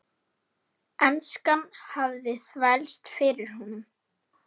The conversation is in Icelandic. Enskan hafði þvælst fyrir honum.